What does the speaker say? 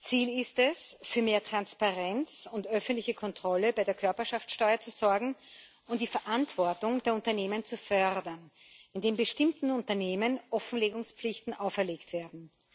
Ziel ist es, für mehr Transparenz und öffentliche Kontrolle bei der Körperschaftssteuer zu sorgen und die Verantwortung der Unternehmen zu fördern, indem bestimmten Unternehmen Offenlegungspflichten auferlegt werden.